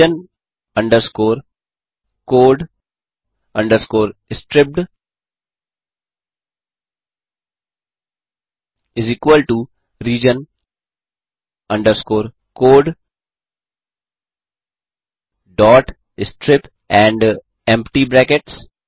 region underscore code underscore stripped is equal to region underscore code dot strip and empty brackets